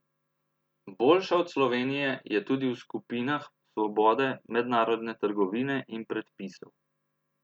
Boljša od Slovenije je tudi v skupinah svobode mednarodne trgovine in predpisov.